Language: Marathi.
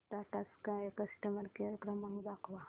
टाटा स्काय कस्टमर केअर क्रमांक दाखवा